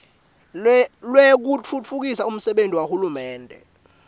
lwekutfutfukisa umsebenti wahulumende